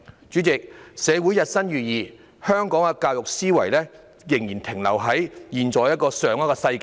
主席，社會日新月異，但香港的教育思維仍然停留在上一個世紀。